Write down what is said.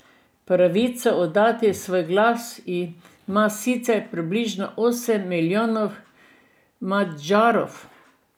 Pravico oddati svoj glas ima sicer približno osem milijonov Madžarov.